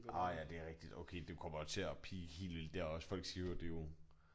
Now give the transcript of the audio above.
Orh ja det rigtig okay du kommer jo til at peake hel der også folk siger jo det jo